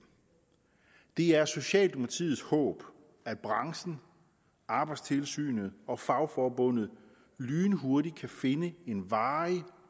det er socialdemokratiets håb at branchen arbejdstilsynet og fagforbundet lynhurtigt kan finde en varig